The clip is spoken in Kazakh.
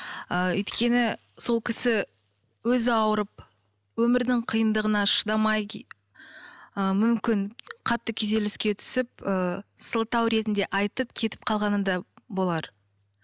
ыыы өйткені сол кісі өзі ауырып өмірдің қиындығына шыдамай ы мүмкін қатты күйзеліске түсіп ыыы сылтау ретінде айтып кетіп қалғаны да болар